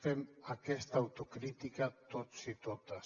fem aquesta autocrítica tots i totes